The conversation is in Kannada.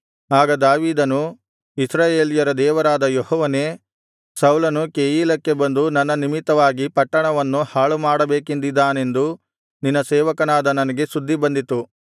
ಆಗ ದಾವೀದನು ಇಸ್ರಾಯೇಲ್ಯರ ದೇವರಾದ ಯೆಹೋವನೇ ಸೌಲನು ಕೆಯೀಲಕ್ಕೆ ಬಂದು ನನ್ನ ನಿಮಿತ್ತವಾಗಿ ಪಟ್ಟಣವನ್ನು ಹಾಳು ಮಾಡಬೇಕೆಂದಿದ್ದಾನೆಂದು ನಿನ್ನ ಸೇವಕನಾದ ನನಗೆ ಸುದ್ದಿ ಬಂದಿತು